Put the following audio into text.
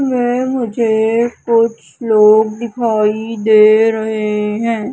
वे मुझे कुछ लोग दिखाई दे रहे है।